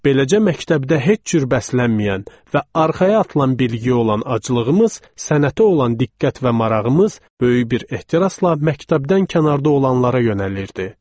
Beləcə məktəbdə heç cür bəslənməyən və arxaya atılan bilgi olan aclığımız, sənətə olan diqqət və marağımız böyük bir ehtirasla məktəbdən kənarda olanlara yönəlirdi.